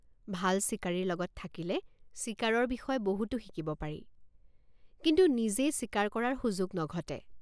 ভাল চিকাৰীৰ লগত থাকিলে চিকাৰৰ বিষয়ে বহুতো শিকিব পাৰি কিন্তু নিজে চিকাৰ কৰাৰ সুযোগ নঘটে।